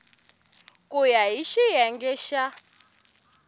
ku ya hi xiyenge xa